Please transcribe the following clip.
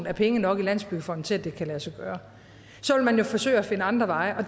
er penge nok i landsbyggefonden til at det kan lade sig gøre så vil man jo forsøge at finde andre veje og